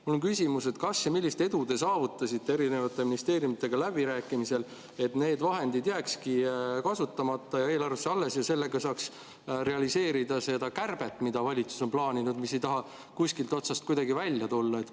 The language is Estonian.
Mul on küsimus: kas ja millist edu te saavutasite erinevate ministeeriumidega läbirääkimisel, et need vahendid jääkski kasutamata ja eelarvesse alles ja sellega saaks realiseerida seda kärbet, mida valitsus on plaaninud ja mis ei taha kuskilt otsast kuidagi välja tulla?